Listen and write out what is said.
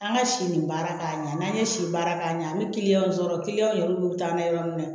An ka si nin baara k'a ɲɛ n'an ye si baara k'a ɲɛ an bɛ sɔrɔ yɛrɛ olu bɛ taa n'a ye yɔrɔ min na